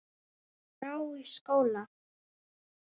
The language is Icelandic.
skrá í skóla?